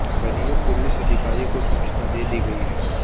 वरीय पुलिस अधिकारी को सूचना दे दी गयी हैं